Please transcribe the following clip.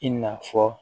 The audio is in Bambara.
I n'a fɔ